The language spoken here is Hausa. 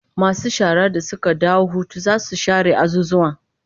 Masu shara da suka dawo hutu zasu share azuzuwan